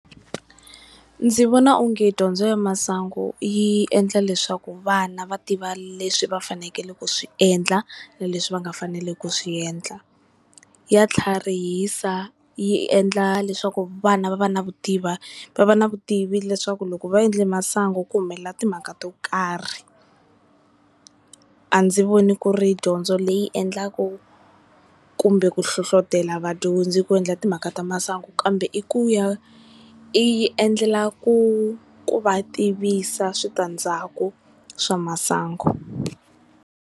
Ndzi vona onge dyondzo ya masangu yi endla leswaku vana va tiva leswi va fanekele ku swi endla na leswi va nga fanelangiku ku swi endla, ya tlharihisa yi endla leswaku vana va va na vutivi va va ni vutivi leswaku loko va endle masangu ku humelela timhaka to karhi. A ndzi voni ku ri dyondzo leyi endlaku kumbe ku hlohlotelo vadyondzi ku endla timhaka ta masangu, kambe i ku ya i yi endlela ku ku va tivisa switandzhaku swa masangu.